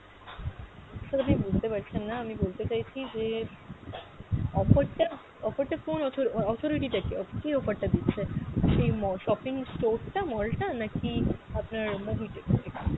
sir আপনি বুঝতে পারছেন না আমি বলতে চাইছি যে, offer টা offer টা কোন অথ~ আহ authority টা কে? কে offer টা দিচ্ছে? সেই ম~ shopping store টা mall টা নাকি আপনার mobitech?